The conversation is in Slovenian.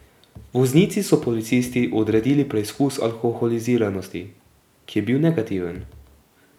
Voznici so policisti odredili preizkus alkoholiziranosti, ki je bil negativen.